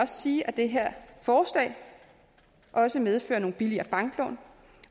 sige at det her forslag også medfører nogle billigere banklån